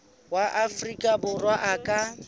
wa afrika borwa a ka